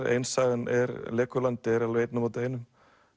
ein sagan Legoland er alveg einn á móti einum